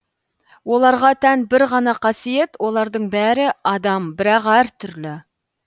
оларға тән бір ғана қасиет олардың бәрі адам бірақ әртүрлі